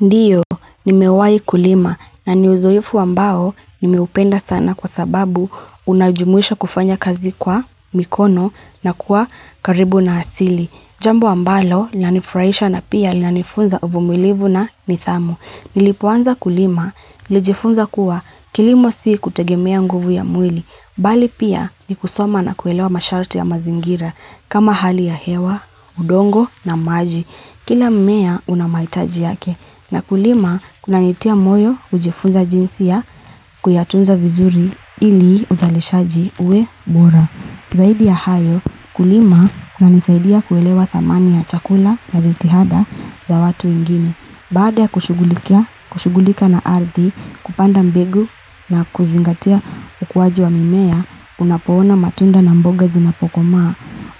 Ndiyo, ni mewai kulima na ni uzoefu ambao nimeupenda sana kwa sababu unajumuisha kufanya kazi kwa mikono na kuwa karibu na asili. Jambo ambalo, lanifraisha na pia lanifunza uvumilivu na nithamu. Nilipo anza kulima, nlijifunza kuwa kilimo si kutegemea nguvu ya mwili. Bali pia ni kusoma na kwelewa masharti ya mazingira kama hali ya hewa udongo na maji. Kila mmea unamaitaji yake na kulima kuna nitia moyo ujifunza jinsi ya kuyatunza vizuri ili uzalishaji uwe bora. Zaidi ya hayo kulima kunanisaidia kuelewa dhamani ya chakula na jitihada za watu wengine. Baada ya kushugulika na ardhi kupanda mbegu na kuzingatia ukuwaji wa mimea unapoona matunda na mboga zinapokomaa.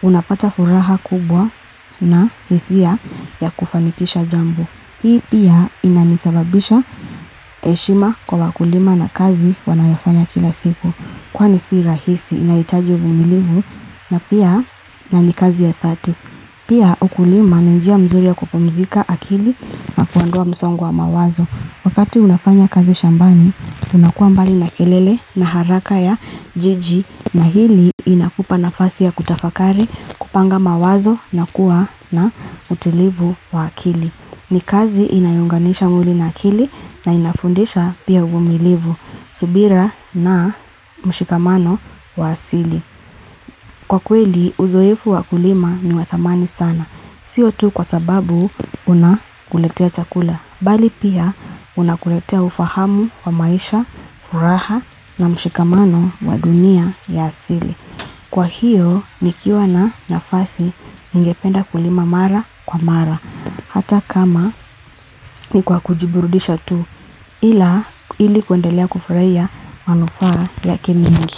Unapata furaha kubwa na hisia ya kufanikisha jambo. Hii pia inanisababisha eshima kwa wakulima na kazi wanayofanya kila siku. Kwani si rahisi inaitaji uvumilivu na pia nani kazi ya fati. Pia ukulima ni njia mzuri ya kupumzika akili na kuandua msongo wa mawazo Wakati unafanya kazi shambani unakua mbali na kelele na haraka ya jiji na hili inakupa nafasi ya kutafakari kupanga mawazo na kuwa na utilivu wa akili. Ni kazi inayo unganisha mwili na akili na inafundisha pia uvumilivu, subira na mshikamano wa asili. Kwa kweli, uzoefu wakulima ni wathamani sana. Sio tu kwa sababu unakuletea chakula. Bali pia unakuletea ufahamu wa maisha, furaha na mshikamano wa dunia ya asili. Kwa hiyo, nikiwa na nafasi ningependa kulima mara kwa mara. Hata kama ni kwa kujiburudisha tu ili kwendelea kufuraia manufaa yake mingi.